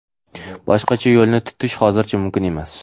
Boshqacha yo‘lni tutish hozircha mumkin emas.